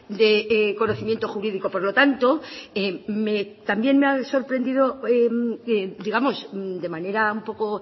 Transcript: de conocimiento jurídico por lo tanto también me ha sorprendido digamos de manera un poco